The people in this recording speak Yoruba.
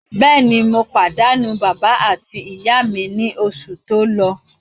Bẹ́ẹ̀ni, mo pàdánù bàbá àti ìyá mi ní oṣù tó lọ.